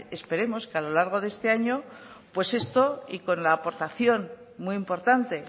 esperemos que a lo largo de este año pues esto y con la aportación muy importante